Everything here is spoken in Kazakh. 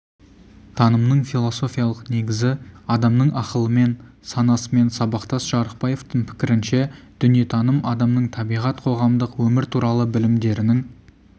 танымның философиялық негізі адамның ақылымен санасымен сабақтас жарықбаевтың пікірінше дүниетаным адамның табиғат қоғамдық өмір туралы білімдерінің